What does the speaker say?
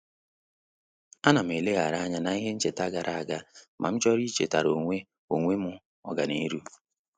A na m eleghari anya na-ihe ncheta gara aga ma m chọrọ ichetara onwe onwe m ọganihu